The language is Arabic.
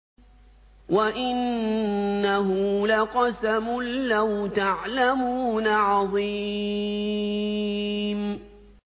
وَإِنَّهُ لَقَسَمٌ لَّوْ تَعْلَمُونَ عَظِيمٌ